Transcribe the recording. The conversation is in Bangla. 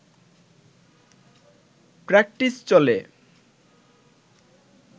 প্র্যাকটিস চলে